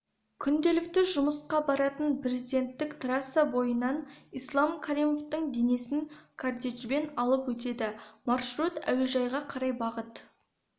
күнделікті жұмысқа баратын президенттік трасса бойынан ислам каримовтің денесін кортежбен алып өтеді маршрут әуежайға қарай бағыт